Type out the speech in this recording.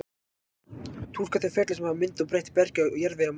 túlka þau ferli sem hafa myndað og breytt bergi og jarðvegi á mars